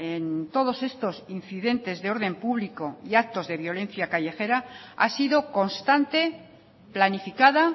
en todos estos incidentes de orden público y actos de violencia callejera ha sido constante planificada